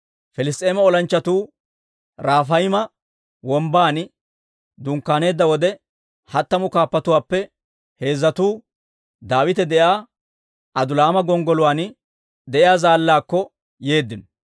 Piliss's'eema olanchchatuu Rafayma Wombban dunkkaaneedda wode, hattamu kaappatuwaappe heezzatuu Daawite de'iyaa Adulaama gonggoluwaan de'iyaa zaallaakko yeeddino.